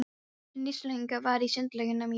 Hið nýstárlegasta var í Sundlaugunum í Reykjavík.